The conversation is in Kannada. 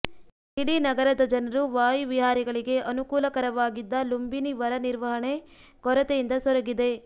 ಇಡೀ ನಗರದ ಜನರು ವಾಯುವಿಹಾರಿಗಳಿಗೆ ಅನುಕೂಲಕರವಾಗಿದ್ದ ಲುಂಬಿನಿ ವರ ನಿರ್ವಹಣೆ ಕೊರತೆಯಿಂದ ಸೊರಗಿದೆ